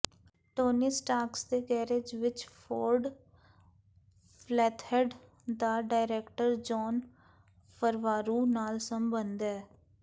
Tony Starks ਦੇ garage ਵਿਚ Ford flathead ਦਾ ਡਾਇਰੈਕਟਰ ਜੋਨ ਫਰਵਾਰੂ ਨਾਲ ਸੰਬੰਧ ਹੈ